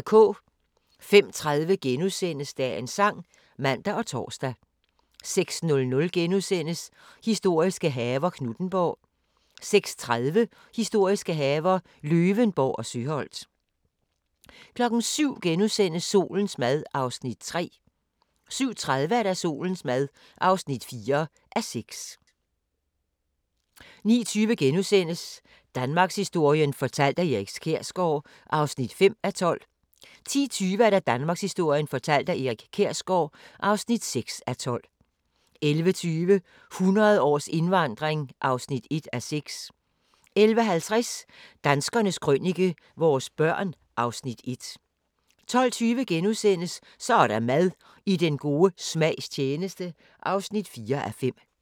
05:30: Dagens Sang *(man og tor) 06:00: Historiske haver – Knuthenborg * 06:30: Historiske haver – Løvenborg og Søholt 07:00: Solens mad (3:6)* 07:30: Solens mad (4:6) 09:20: Danmarkshistorien fortalt af Erik Kjersgaard (5:12)* 10:20: Danmarkshistorien fortalt af Erik Kjersgaard (6:12) 11:20: 100 års indvandring (1:6) 11:50: Danskernes Krønike - vores børn (Afs. 1) 12:20: Så er der mad – I den gode smags tjeneste (4:5)*